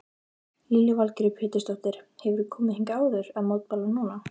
Lillý Valgerður Pétursdóttir: Hefurðu komið hingað áður að mótmæla núna?